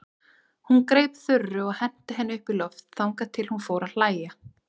Hún greip Þuru og henti henni upp í loft þangað til hún fór að hlæja.